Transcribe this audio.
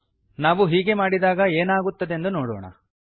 ನಾವು ಹೀಗೆ ಮಾಡಿದಾಗ ಏನಾಗುತ್ತದೆಂದು ನೋಡೋಣ